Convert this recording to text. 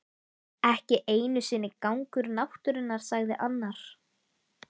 Ekki einu sinni gangur náttúrunnar sagði annar.